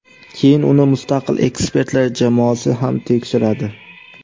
Keyin uni mustaqil ekspertlar jamoasi ham tekshiradi.